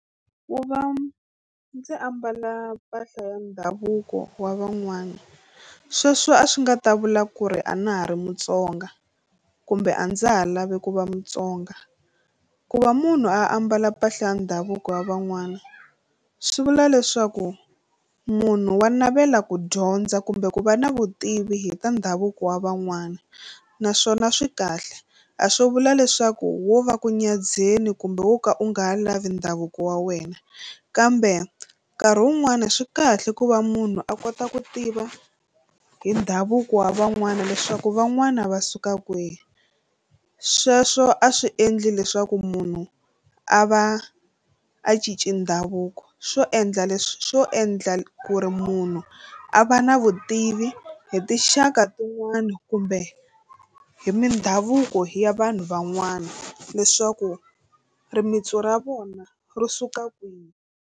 Ku va ndzi ambala mpahla ya ndhavuko wa van'wani sweswo a swi nga ta vula ku ri a na ha ri Mutsonga kumbe a ndza ha lavi ku va Mutsonga. Ku va munhu a ambala mpahla ya ndhavuko ya van'wana swi vula leswaku munhu wa navela ku dyondza kumbe ku va na vutivi hi ta ndhavuko wa van'wana naswona swi kahle a swo vula leswaku wo va ku nyadzheni kumbe wo ka u nga ha lavi ndhavuko wa wena kambe nkarhi wun'wani swi kahle ku va munhu a kota ku tiva hi ndhavuko wa van'wana leswaku van'wana va suka kwihi sweswo a swi endli leswaku munhu a va a cinci ndhavuko swo endla leswi swo endla ku ri munhu a va na vutivi hi tinxaka tin'wani kumbe hi mindhavuko ya vanhu van'wana leswaku rimitsu ra vona ro suka kwihi.